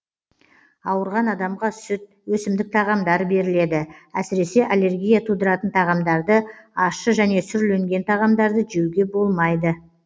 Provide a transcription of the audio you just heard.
ауырған адамға сүт өсімдік тағамдары беріледі әсіресе аллергия тудыратын тағамдарды ащы және сүрленген тағамдарды жеуге болмайды